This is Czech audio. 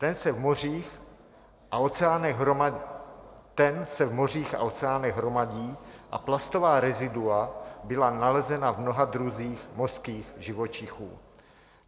Ten se v mořích a oceánech hromadí a plastová rezidua byla nalezena v mnoha druzích mořských živočichů.